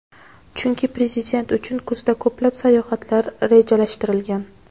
chunki Prezident uchun kuzda ko‘plab sayohatlar rejalashtirilgan.